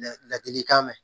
La ladilikan mɛn